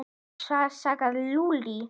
Hvað sagði Lúlli?